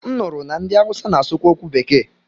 M nụrụ na ndị Awụsa na-asụ kwa okwu bekee.